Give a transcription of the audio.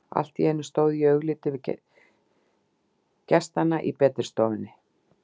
Allt í einu stóð ég fyrir augliti gestanna í betri stofunni.